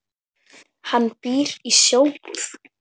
Hann býr í Sjóbúð.